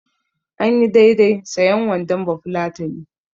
Anyi daidai sayen wandon bafulatani.